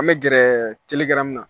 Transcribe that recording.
An bɛ gɛrɛ na.